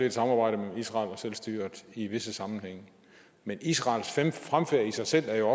et samarbejde mellem israel og selvstyret i visse sammenhænge men israels fremfærd i sig selv er jo